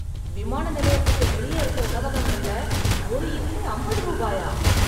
விமான நிலையத்துக்கு வெளிய இருக்க உணவகங்கள்ல ஒரு இட்லி அம்பது ரூபாயா?